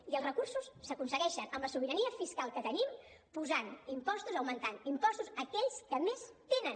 i els recursos s’aconsegueixen amb la sobirania fiscal que tenim posant impostos augmentant impostos a aquells que més tenen